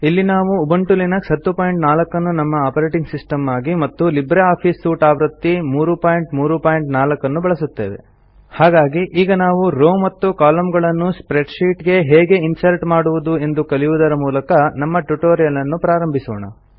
ಇಲ್ಲಿ ನಾವು Ubuntu Linux 1004 ಅನ್ನು ನಮ್ಮ ಆಪರೇಟಿಂಗ್ ಸಿಸ್ಟಮ್ ಆಗಿ ಮತ್ತು ಲಿಬ್ರೆ ಆಫೀಸ್ ಸೂಟ್ ಆವೃತ್ತಿ 334 ಅನ್ನು ಬಳಸುತ್ತೇವೆ ಹಾಗಾಗಿ ಈಗ ನಾವು ರೋವ್ ಮತ್ತು columnಗಳನ್ನು ಸ್ಪ್ರೆಡ್ಶೀಟ್ ಗೆ ಹೇಗೆ ಇನ್ಸರ್ಟ್ ಮಾಡುವುದು ಎಂದು ಕಲಿಯುವುದರ ಮೂಲಕ ನಮ್ಮ ಟ್ಯುಟೋರಿಯಲ್ ಅನ್ನು ಪ್ರಾರಂಭಿಸೋಣ